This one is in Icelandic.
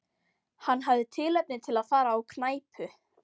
Hann hafði tilefni til að fara á knæpu.